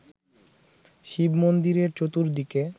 শিব-মন্দিরের চতুর্দিকে